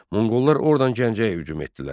Monqollar ordan Gəncəyə hücum etdilər.